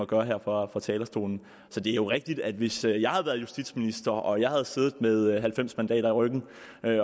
gøre her fra fra talerstolen så det er jo rigtigt at hvis jeg jeg havde været justitsminister og jeg havde siddet med halvfems mandater i ryggen